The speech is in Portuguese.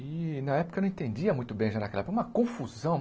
E na época eu não entendia muito bem, já naquela época, uma confusão.